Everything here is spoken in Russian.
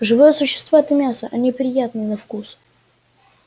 живые существа это мясо они приятны на вкус